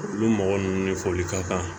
Olu mɔgɔ ninnu ni foli ka kan